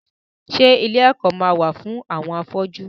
Ṣé ilé ẹ̀kọ́ ma wà fún àwọn afọ́jú?